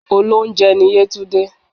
Olóunjẹ ni yétúndé